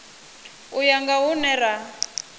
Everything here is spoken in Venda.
u ya nga hune ra